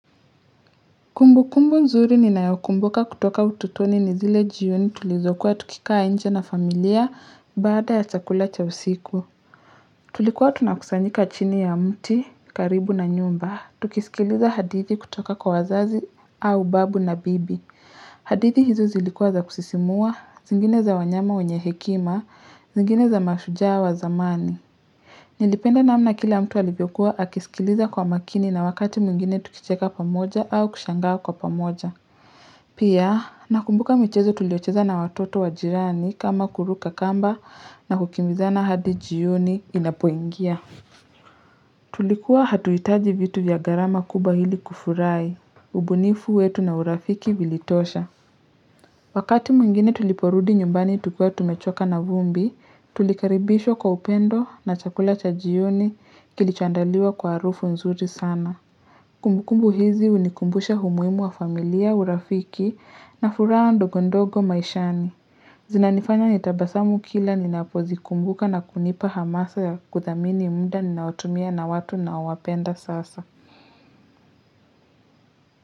Kumbukumbu nzuri ninayokumbuka kutoka utotoni ni zile jioni tulizokuwa tukikaa nje na familia baada ya chakula cha usiku. Tulikuwa tunakusanyika chini ya mti karibu na nyumba. Tukisikiliza hadithi kutoka kwa wazazi au babu na bibi. Hadithi hizo zilikua za kusisimua, zingine za wanyama wenye hekima, zingine za mashujaa wa zamani. Nilipenda namna kila mtu alivyokuwa akisikiliza kwa makini na wakati mwingine tukicheka pamoja au kushangaa kwa pamoja. Pia, nakumbuka michezo tuliocheza na watoto wa jirani kama kuruka kamba na kukimbizana hadi jioni inapoingia. Tulikuwa hatuitaji vitu vya gharama kubwa ili kufurahi, ubunifu wetu na urafiki vilitosha. Wakati mwingine tuliporudi nyumbani tukiwa tumechoka na vumbi, tulikaribishwa kwa upendo na chakula cha jioni kilichoandaliwa kwa harufu nzuri sana. Kumbukumbu hizi hunikumbusha humuimu wa familia, urafiki na furaha ndogondogo maishani. Zinanifanya nitabasamu kila ninapozikumbuka na kunipa hamasa ya kuthamini mda ninaotumia na watu naowapenda sasa.